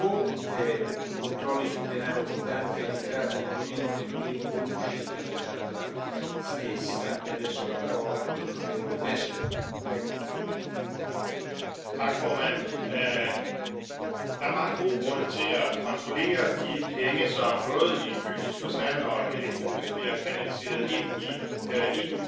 Este o gaură neagră în care se scurg banii oamenilor și, de multe ori, viețile lor. Noua directivă europeană privind combaterea spălării banilor prin mijloace penale încearcă să corecteze o parte din aceste lipsuri. Elimină legătura dintre infracțiunea principală, de spălare de bani, și infracțiunea predicat, cea prin care se produc banii murdari